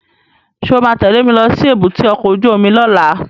Sọ ma tẹ́lẹ̀ mi lọ sí èbúté ọkọ̀ óju omi lọ́la?